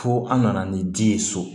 Fo an nana ni di ye so